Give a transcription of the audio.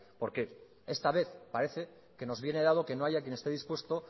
porque esta vez parece que nos viene dado que no haya quien este dispuesto